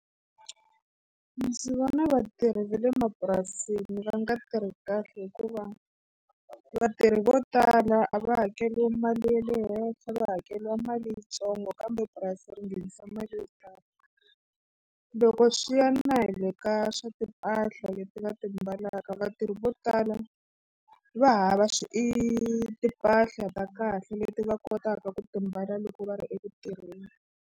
Ndzi vona vatirhi va le mapurasini va nga tirhi kahle hikuva vatirhi vo tala a va hakeriwi mali ya le henhla va hakeriwa mali yintsongo kambe purasi ri nghenisa mali yo tala. Loko swi ya na hi le ka swa timpahla leti va ti mbalaka vatirhi vo tala va hava swi i timpahla ta kahle leti va kotaka ku ti mbala loko va ri eku tirheni.